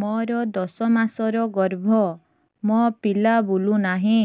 ମୋର ଦଶ ମାସର ଗର୍ଭ ମୋ ପିଲା ବୁଲୁ ନାହିଁ